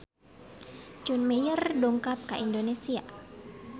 John Mayer dongkap ka Indonesia